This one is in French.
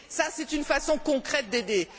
C'est une façon concrète d'aider.